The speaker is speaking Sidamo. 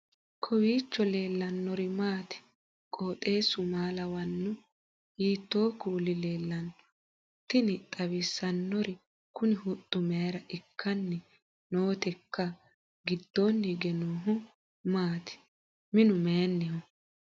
kowiicho leellannori maati ? qooxeessu maa lawaanno ? hiitoo kuuli leellanno ? tini xawissannori kuni huxxu mayra ikkanni nooteikka gidoonni hige noohu maati minu mayinniho